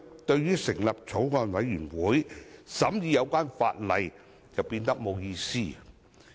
這樣，成立法案委員會審議法例就變得沒有意義。